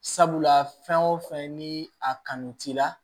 Sabula fɛn o fɛn ni a kanu t'i la